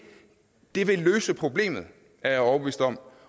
det vil løse problemet er jeg overbevist om